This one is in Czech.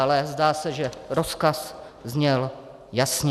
Ale zdá se, že rozkaz zněl jasně.